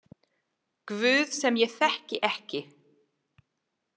Guð sem ég þekki ekki.